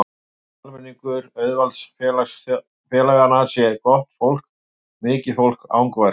Ég held að almenningur auðvaldsþjóðfélaganna sé gott fólk, mikið fólk, angurvært fólk.